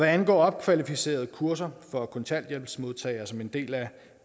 angår opkvalificeringskurser for kontanthjælpsmodtagere som en del af